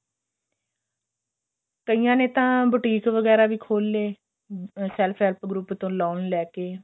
ਕਈਆਂ ਨੇ ਤਾਂ boutique ਵਗੇਰਾ ਵੀ ਖੋਲ ਲਏ self help group ਤੋਂ loan ਲੈਕੇ